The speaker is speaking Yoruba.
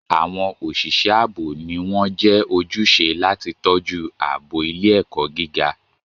Àwọn òṣìṣẹ́ ààbò ni wọ́n jẹ́ ojúṣe láti tọ́jú ààbò ilé-ẹ̀kọ́ gíga.